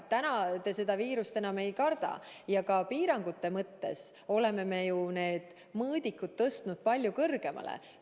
Täna te seda viirust enam ei karda ja ka piirangute mõttes oleme ju need mõõdikud tõstnud palju kõrgemale.